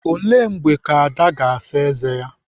Ele mgbe Ada ga-asa ézé?